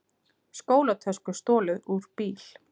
Skólatösku stolið úr bíl